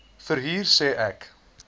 verhuurder sê ek